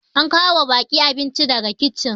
an kawo wa baki abinci daga kicin